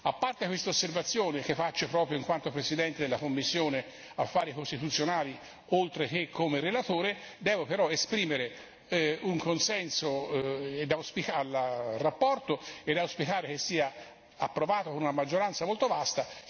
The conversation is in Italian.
A parte quest'osservazione, che faccio proprio in quanto presidente della commissione per gli affari costituzionali oltre che come relatore, devo però esprimere un consenso alla relazione e auspicare che sia approvata con una maggioranza molto vasta.